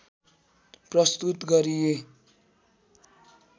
प्रस्तुत गरिए